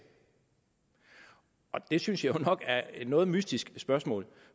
det synes jeg nok er et noget mystisk spørgsmål